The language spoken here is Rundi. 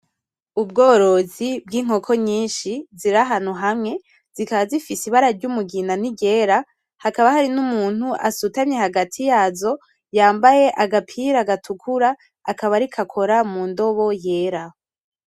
Ubworozi bwinkoko nyinshi zirahantu hamwe zikabazifise ibara ry'umugina niryera, hakaba harinumuntu asutamye hagati yazo yambaye agapira gatukura akaba ariko akora mundobo yera.